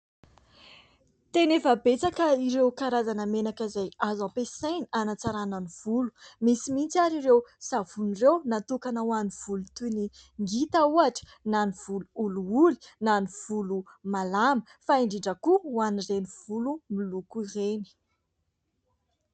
Tena efa betsaka ireo karazana menaka izay azo ampiasaina hanatsarana ny volo. Misy mihitsy ary ireo savony ireo natokana ho an'ny volo toy ny ngita ohatra na ny volo olioly na ny volo malama, fa indrindra koa ho an'ireny volo miloko ireny.